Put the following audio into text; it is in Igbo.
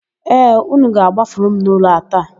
Ee, ụnụ ga-agbafuru m n'ụlọ a taa.